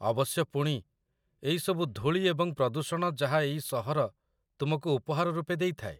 ଅବଶ୍ୟ ପୁଣି, ଏଇ ସବୁ ଧୂଳି ଏବଂ ପ୍ରଦୂଷଣ ଯାହା ଏଇ ସହର ତୁମକୁ ଉପହାର ରୂପେ ଦେଇଥାଏ।